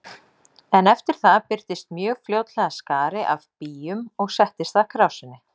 En eftir það birtist mjög fljótlega skari af býjum og settist að krásinni.